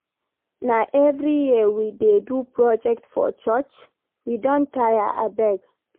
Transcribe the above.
Na every year we dey do project for church? We don tire abeg.